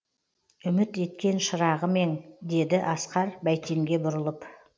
үміт еткен шырағым ең деді асқар бәйтенге бұрылып